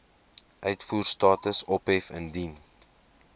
uitvoerstatus ophef indien